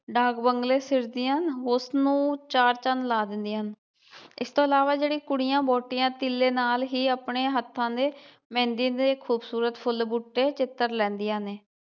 ਡਾਕ ਬੰਗਲੇ ਨੂੰ ਉਸਨੂੰ ਚਾਰ ਚੰਨ ਲਾ ਦਿੰਦੀਆਂ ਹਨ ਇਸ ਤੋਂ ਇਲਾਵਾ ਜਿਹੜੀ ਕੁੜੀਆਂ, ਵਹੁਟੀਆਂ ਤੀਲੇ ਨਾਲ ਹੀ ਆਪਣੇ ਹੱਥਾਂ ਦੇ ਮਹਿੰਦੀ ਦੇ ਖੂਬਸੂਰਤ ਫੁੱਲ ਬੂਟੇ ਚਿਤਰ ਲੈਂਦੀਆਂ ਨੇ